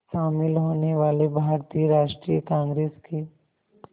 शामिल होने वाले भारतीय राष्ट्रीय कांग्रेस के